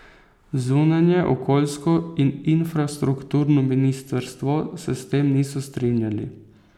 Zunanje, okoljsko in infrastrukturno ministrstvo se s tem niso strinjali.